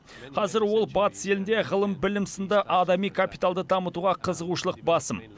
қазір ол батыс елінде ғылым білім сынды адами капиталды дамытуға қызығушылық басым